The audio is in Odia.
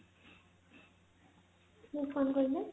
ହଁ କଣ କହିଲେ